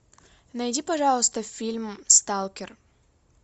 найди пожалуйста фильм сталкер